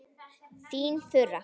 Þín Þura.